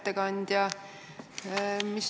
Hea ettekandja!